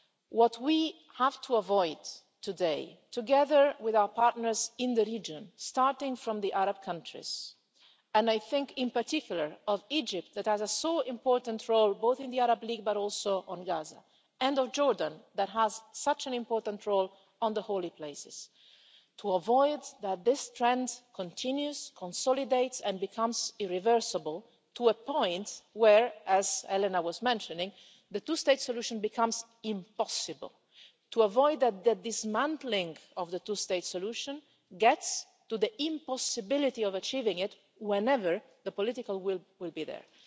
What we have to avoid today, together with our partners in the region, starting with the Arab countries and I think in particular of Egypt that has such an important role both in the Arab League but also on Gaza, and of Jordan that has such an important role on the holy places what we have to avoid is that this trend continues, consolidates and becomes irreversible to a point where, as Elena Valenciano mentioned, the two-state solution becomes impossible, and avoid that the dismantling of the two-state solution gets to the impossibility of achieving it whenever the political will is there.